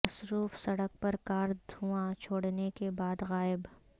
مصروف سڑک پر کار دھواں چھوڑنے کے بعد غائب